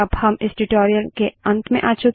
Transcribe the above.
अब हम इस ट्यूटोरियल के अंत में आ चुके हैं